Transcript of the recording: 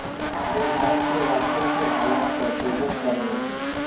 वे भारत के वॉशरूम के हालात पर प्रोजेक्ट कर रहे थे